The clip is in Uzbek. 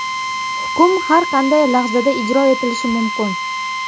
Hukm har qanday lahzada ijro etilishi mumkin.